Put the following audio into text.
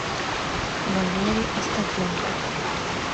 валерий остапенков